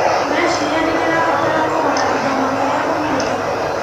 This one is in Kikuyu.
ũreciria nĩndĩrabatara kũgũra indo makĩria ũmũthĩ?